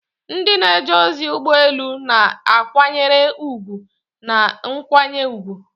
Ndị na-eje ozi ụgbọ elu na-akwanyere ùgwù na nkwanye ùgwù.